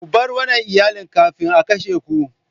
Ku bar wannan Iyalin kafin a kashe ku!